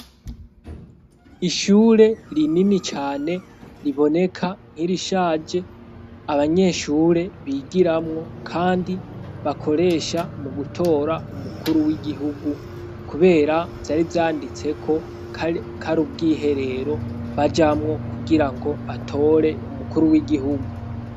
Ishure rinini cane riboneka nk'irishaje abanyeshure bigiramwo kandi bakoresha mu gutora umukuru w'igihugu; kubera vyari yanditseko ko ari ubwiherero bajamwo kugira ngo batore umukuru w'igihugu.